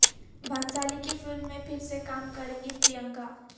بھنسالی کی فلم میں پھر سے کام کریں گی پرینکا